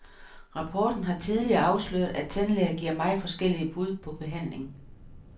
Rapporten har tidligere afsløret, at tandlæger giver meget forskellige bud på behandling.